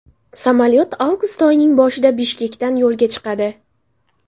Samolyot avgust oyining boshida Bishkekdan yo‘lga chiqadi.